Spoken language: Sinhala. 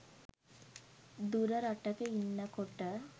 දුර රටක ඉන්නකොට